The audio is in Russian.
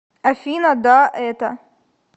афина да это